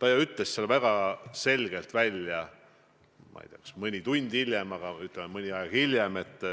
Aga ta ju ütles kas mõni tund hiljem või, ütleme, mõni aeg hiljem väga